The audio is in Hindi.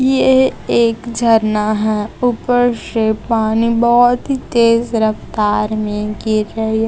येह एक झरना है ऊपर से पानी बहोत ही तेज रफ्तार में गिर रही है।